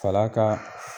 Fal'a ka